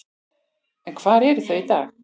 En hvar eru þau í dag?